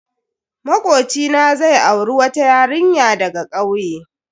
Makocina zai auri wata yarinya daga kauye.